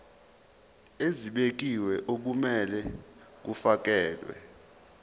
ezibekiwe okumele kufakelwe